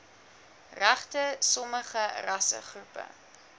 regte sommige rassegroepe